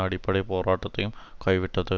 அடிப்படை போராட்டத்தையும் கைவிட்டது